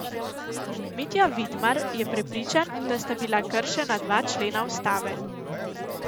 Mitja Vidmar je prepričan, da sta bila kršena dva člena ustave.